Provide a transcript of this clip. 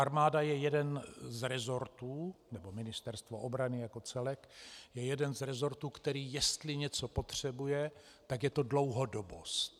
Armáda je jeden z resortů, nebo Ministerstvo obrany jako celek je jeden z resortů, který jestli něco potřebuje, tak je to dlouhodobost.